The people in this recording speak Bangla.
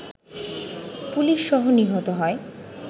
পুলিশসহ নিহত হয়